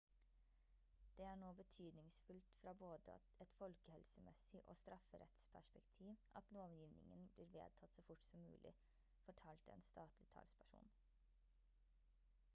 «det er nå betydningsfullt fra både et folkehelsemessig og strafferettsperspektiv at lovgivningen blir vedtatt så fort som mulig» fortalte en statlig talsperson